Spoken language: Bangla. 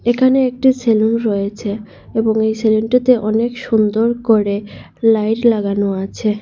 এখানে একটি সেলুন রয়েছে এবং এই সেলুনটিতে -টিতে অনেক সুন্দর করে লাইট লাগানো আছে।